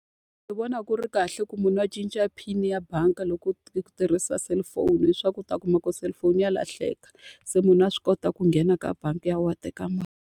Ndzi vona ku ri kahle ku munhu a cinca PIN-i ya bangi loko u u tirhisa cellphone hileswaku u ta kuma ku cellphone ya lahleka. Se munhu a swi kota ku nghena ka bangi ya wena a teka .